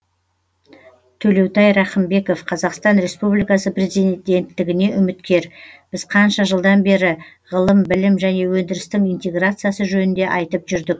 төлеутай рақымбеков қазақстан республикасы президенттігіне үміткер біз қанша жылдан бері ғылым білім және өндірістің интеграциясы жөнінде айтып жүрдік